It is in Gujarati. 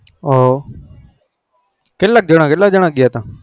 ઓ કેટલા જાના ગયા હતા